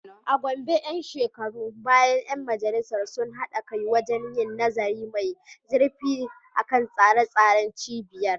A Gombe ‘yan shekarun baya ‘yan majalisar sun haɗa kai wajen yin nazari mai zurfi kan tsare-tsaren cibiyar.